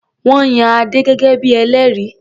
Wọ́n yan Adé gẹ́gẹ́ bí i ẹlẹ́rìí.